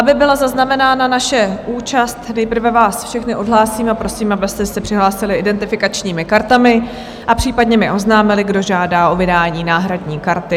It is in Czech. Aby byla zaznamenána vaše účast, nejprve vás všechny odhlásím a prosím, abyste se přihlásili identifikačními kartami a případně mi oznámili, kdo žádá o vydání náhradní karty.